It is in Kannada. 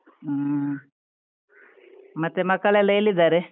ಹ್ಮ್, ಮತ್ತೆ ಮಕ್ಕಳೆಲ್ಲ ಎಲ್ಲಿದ್ದಾರೆ?